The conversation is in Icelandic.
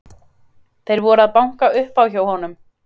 Þeir voru að banka upp á hjá honum.